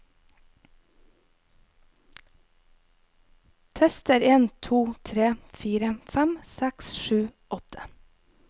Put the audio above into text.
Tester en to tre fire fem seks sju åtte